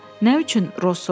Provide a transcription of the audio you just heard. Nə üçün, Roz soruşdu?